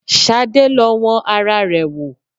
Ṣadé lọ wọn ara rẹ̀ wo